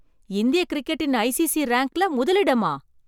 இந்திய கிரிக்கெட்டின் ஐசிசி ரேங்க்ல முதலிடமா!